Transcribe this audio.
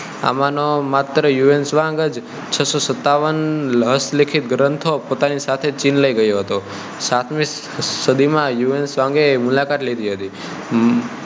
આમાંનાં માત્ર Hiuen Tsang જ છસ્સો સત્તાવન હસ્તલિખિત ગ્રંથો પોતાની સાથે ચીન લઇ ગયો હતો સાતમી સદી માં હ્યુ એન ત્સાંગ એ મુલાકાત લીધી હતી